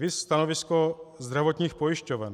Viz stanovisko zdravotních pojišťoven.